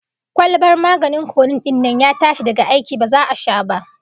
Kwalbar maganin codeine din nan ya tashi daga aiki, ba za'a sha ba